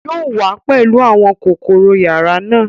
Yóò wá pẹlú àwọn kọ́kọ́rọ́ yàrá náà